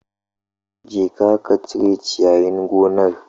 Jeka ka cire ciyayin gonar